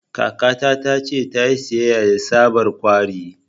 Kakata ta ce ta yi siyayya da tsabar 'kawri'